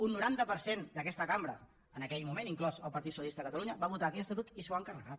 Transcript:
un noranta per cent d’aquesta cambra en aquell moment inclòs el partit socialista de catalunya va votar aquell estatut i s’ho han carregat